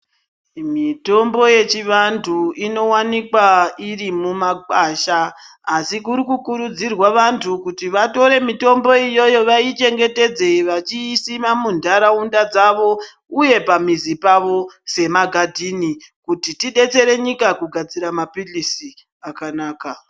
Mitombo yechivantu inowanikwa iri mumakwasha asi kuri kukurudzirwa vantu kuti vatore mitombo iyoyo vaichengetedze vachiisima muntaraunda dzavo uye pamizi pavo semagadhini kuti tidetsere nyika kugadzira mapirizi akanaka.